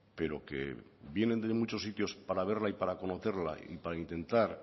pero que vienen de muchos sitios para verla y para conocerla y para intentar